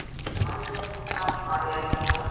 Mæja litla, Mæja litla.